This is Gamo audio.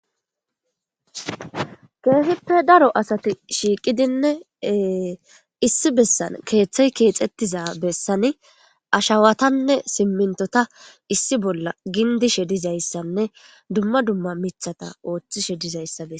keehippe daro asati shiiqidinne issi bessan keeththey keexettiza bessani ashawatanne simmintota issi bolla gindishe dizayssanne dumma dumma mithata ooththi she dizayssa be